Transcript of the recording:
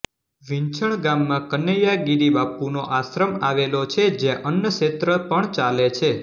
વિંછણ ગામમાં કનૈયાગિરિ બાપુનો આશ્રમ આવેલો છે જ્યાં અન્નક્ષેત્ર પણ ચાલે છે